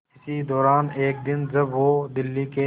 इसी दौरान एक दिन जब वो दिल्ली के